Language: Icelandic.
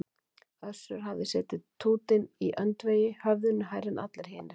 Össur hafði setið tútinn í öndvegi, höfðinu hærri en allir hinir.